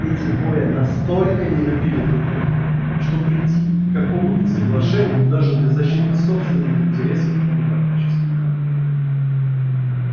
эти двое настолько не любили друг друга что прийти к какому-то соглашению даже для защиты собственных интересов они практически не могли